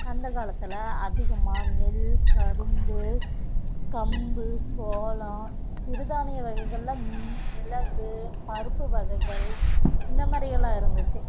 அந்த காலத்துல அதிகமா நெல், கரும்பு, கம்பு, சோளம் சிறுதானிய வகைகள்ல மி~ மிளகு, பருப்பு வகைகள் இந்த மாதிரி எல்லாம் இருந்துச்சு